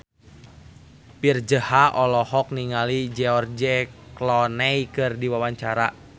Virzha olohok ningali George Clooney keur diwawancara